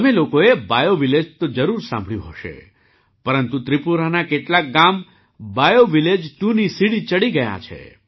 તમે લોકોએ બાયૉવિલેજ તો જરૂર સાંભળ્યું હશે પરંતુ ત્રિપુરાનાં કેટલાંક ગામ બાયૉવિલેજ 2ની સીડી ચડી ગયાં છે